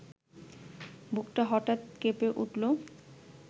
বুকটা হঠাৎ কেঁপে উঠল